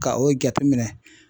Ka o jateminɛ